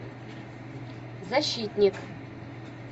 защитник